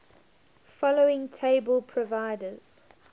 following table provides